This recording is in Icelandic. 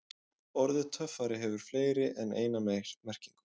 Orðið töffari hefur fleiri en eina merkingu.